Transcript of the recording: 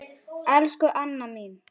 Elsku Anna mín.